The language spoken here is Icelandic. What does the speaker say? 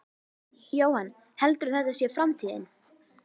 Jóhann: Heldurðu að þetta sé framtíðin?